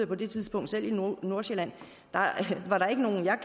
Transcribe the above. på det tidspunkt i nordsjælland var der ikke nogen af